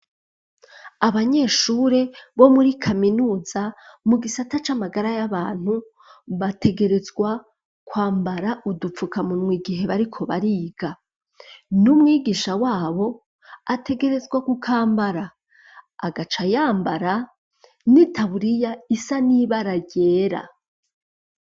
Abanyeshure bo muri kaminuza mu gisata c'amagara y'abantu bategerezwa kwambara udupfukamuntwa igihe bariko bariga. N'umwigisha wabo ategerezwa kukambara, agaca yambara n'itaburiya isa n'ibara ryera.